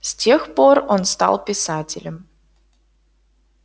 с тех пор он стал писателем